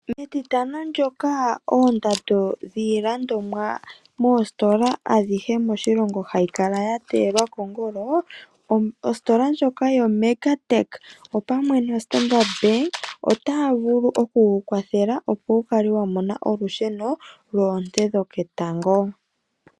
Metitano ndyoka oondando dhiilandomwa moositola adhihe moshilongo hadhi kala dha teyelwa kongolo, ositola ndjoka yo Mega Tech, opamwe no Standard Bank, otaa vulu oku ku kwathela; opo wu kale wa mona olusheno lwoonte dhoketango.